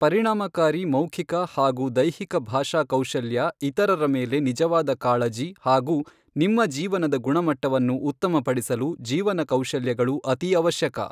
ಪರಿಣಾಮಕಾರಿ ಮೌಖಿಕ ಹಾಗೂ ದೈಹಿಕ ಭಾಷಾ ಕೌಶಲ್ಯ ಇತರರ ಮೇಲೆ ನಿಜವಾದ ಕಾಳಜಿ ಹಾಗೂ ನಿಮ್ಮ ಜೀವನದ ಗುಣಮಟ್ಟವನ್ನು ಉತ್ತಮಪಡಿಸಲು ಜೀವನ ಕೌಶಲ್ಯಗಳು ಅತೀ ಅವಶ್ಯಕ.